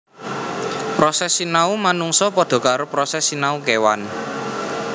Proses sinau manungsa padha karo proses sinau kèwan